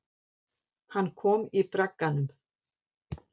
Hann kom í bragganum.